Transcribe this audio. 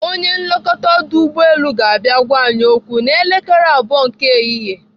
Onye nlekọta ọdụ ụgbọelu ga-abịa gwa anyị okwu n'elekere abụọ nke ehihie.